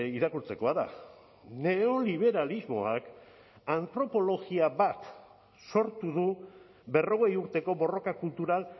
irakurtzekoa da neoliberalismoak antropologia bat sortu du berrogei urteko borroka kultural